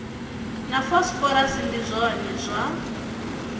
na phosphorus ndi zwone zwa